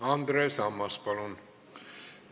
Andres Ammas, palun!